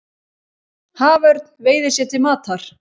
Haförn veiðir sér til matar.